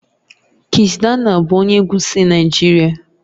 Kizz daniel bụ onye egwu si Naijiria